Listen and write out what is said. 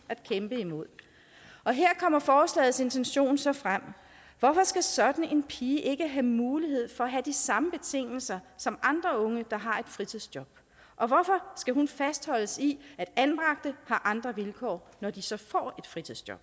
at her kommer forslagets intention så frem hvorfor skal sådan en pige ikke have mulighed for at have de samme betingelser som andre unge der har et fritidsjob og hvorfor skal hun fastholdes i at anbragte har andre vilkår når de så får et fritidsjob